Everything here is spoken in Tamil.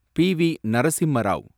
பி.வி. நரசிம்மா ராவ்